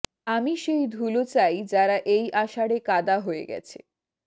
আমি সেই ধুলো চাই যারা এই আষাঢ়ে কাদা হয়ে গেছে